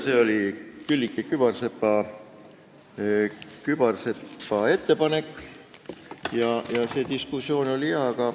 See oli Külliki Kübarsepa ettepanek ja see diskussioon oli jah.